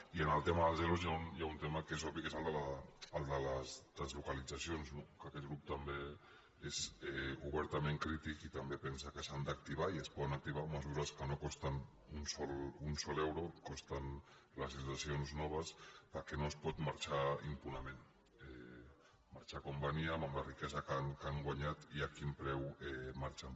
i en el tema dels ero hi ha un tema que és obvi que és el de les deslocalitzacions que aquest grup també hi és obertament crític i també pensa que s’han d’acti·var i es poden activar mesures que no costen ni un sol euro costen les situacions noves perquè no es pot marxar impunement marxar com venien amb la ri·quesa que han guanyat i a quin preu marxen